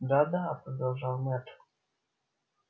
да да продолжал мэтт